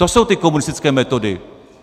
To jsou ty komunistické metody.